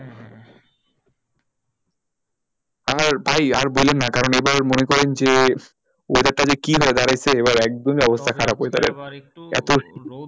আর ভাই আর বলেন না কারণ আবার মনে করেন যে weather টা যে কি হয়ে দাঁড়িয়েছে এবারে একদমই অবস্থা খারাপ weather এর